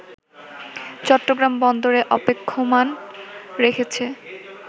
চট্টগ্রাম বন্দরে অপেক্ষমান রেখেছে